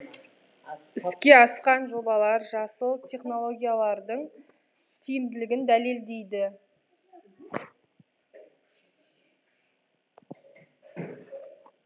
іске асқан жобалар жасыл технологиялардың тиімділігін дәлелдейді